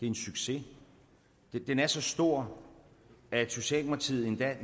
en succes den er så stor at socialdemokratiet endda